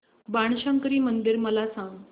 बाणशंकरी मंदिर मला सांग